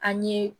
An ye